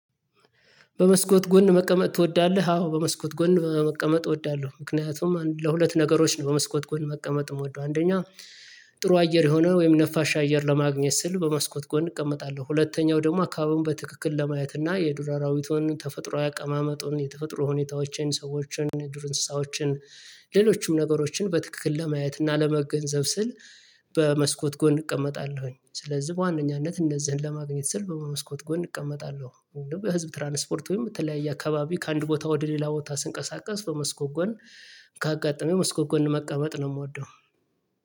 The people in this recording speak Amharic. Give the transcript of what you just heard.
በመስኮት ጎን መቀመጥ ትወዳለህ? አዎ በመስኮት ጎን መቀመጥ እወዳለሁ ምክንያቱም ለሁለት ነገሮች ነው በመስኮት ጎን መቀመጥ የምወደው አንደኛ። ጥሩ አየር የሆነ ወይም ነፋሻ አየር ለማግኘት ስል በመስኮት ጎን እቀመጣለሁ ሁለተኛው ደግሞ አካባቢውን በትክክል ለማየት እና የዱር አራዊቱን ተፈጥሮ አቀማመጡን የተፈጥሮ ሁኔታዎችን ሰዎችን ዱር እንስሳዎችን ሌሎችም ነገሮችን በትክክል ለማየት እና ለመገንዘብ ስል። በመስኮት ጎን እቀመጣለሁ ስለዚህ በዋነኛነት እነዚህን ለማግኘት ስል በመስኮት ጎን እቀመጣለሁ። ወይ ደግሞ በህዝብ ትራንስፖርት ወይም በተለያየ አካባቢ ከአንድ ቦታ ወደ ሌላ ቦታ ስንቀሳቀስ በመስኮት ጎን ካጋጠመው የመስኮት ጎን መቀመጥ ነው። የምወደው